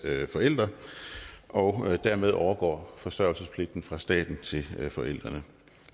forældre og dermed overgår forsørgelsespligten fra staten til forældrene